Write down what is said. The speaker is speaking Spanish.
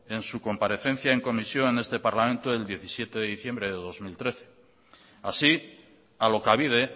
en su comparecencia en comisión en este parlamento el diecisiete de diciembre del dos mil trece así alokabide